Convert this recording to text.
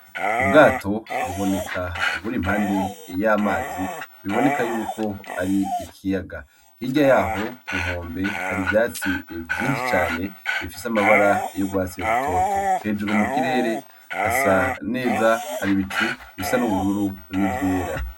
Ubwato buboneka buri impande y'amazi, biboneka yuko ari ikiyaga. Hirya yaho kunkombe hari ivyatsi vyinshi cane bifise amabara y'urwatsi rutoto. Hejuru mukirere hasa neza, hari ibicu bisa n'ubururu, n'ivyera.